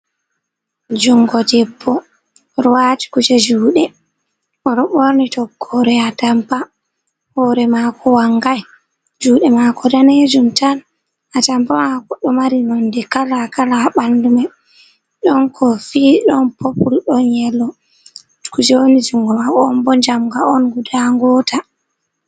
Jungo debbo oɗo wati kuje juɗe oɗo ɓorni tokkore a tampa hore mako wangai juɗe mako danejum tan a tampa mako ɗo mari nonɗe kala kala ha ɓandu mai ɗon kofi ɗon popul ɗon yelo kuje woni jungo mako on ɓo jamga on guɗa ngota.